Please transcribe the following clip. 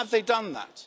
Have they done that?